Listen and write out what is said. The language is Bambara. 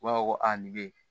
U b'a fɔ ko a nin bɛ ye